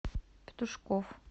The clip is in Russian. петушков